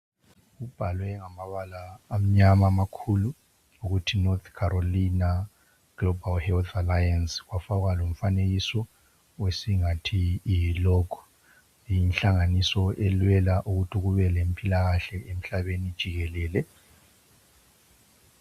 Kubhalwe ngamabala amnyama amakhulu ukuthi NORTH CAROLINA GLOBAL HEALTH ALLIANCE kwafakwa lomfanekiso esingathi yi logo yinhlanganiso elwela ukuthi kubelempilakahle emhlabeni jikelele.